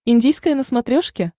индийское на смотрешке